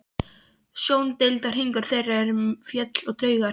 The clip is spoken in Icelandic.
Sjóndeildarhringur þeirra eru fjöll og draumar.